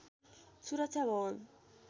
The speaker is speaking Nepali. सुरक्षा भवन